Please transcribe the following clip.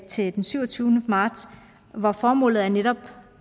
til den syvogtyvende marts hvor formålet netop